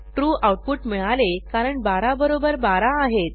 true output मिळाले कारण 12 बरोबर 12 आहेत